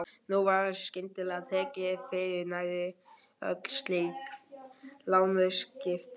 Nú var skyndilega tekið fyrir nærri öll slík lánsviðskipti.